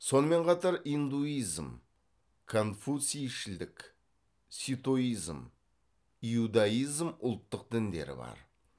сонымен қатар индуизм конфуциишілдік ситоизм иудаизм ұлттық діндері бар